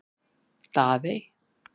Daðey